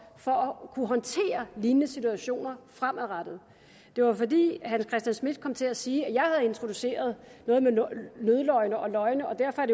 for at kunne håndtere lignende situationer fremadrettet det var fordi herre hans christian schmidt kom til at sige at jeg havde introduceret noget med nødløgne og løgne og derfor er